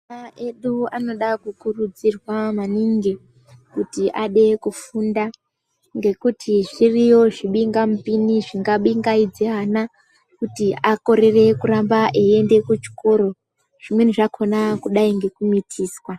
Ana edu anoda kukurudzirwa maningi ,kuti ade kufunda, ngekuti zviriyo zvibingamupini zvingabingaidze ana ,kuti akorere kuramba eienda kuchikoro ,zvimweni zvakhona kudai ngekumithiswa.